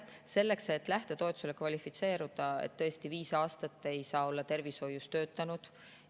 Selleks, et lähtetoetusele kvalifitseeruda, ei tohi viis aastat olla tervishoius töötanud.